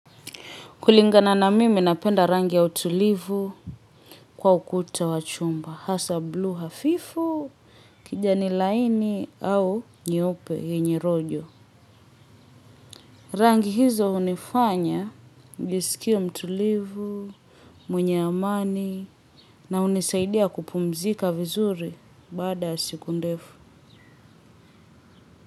Kulingana na mimi napenda rangi ya utulivu kwa ukuta wa chumba. Hasa bluu hafifu, kijani laini au nyeupe yenye rojo. Rangi hizo hunifanya, njisikie mtulivu, mwenye amani na hunisaidia kupumzika vizuri baada ya siku ndefu.